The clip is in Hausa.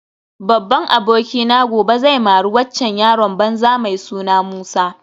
Babban abokina gobe zai mari waccan yaron banza mai suna Musa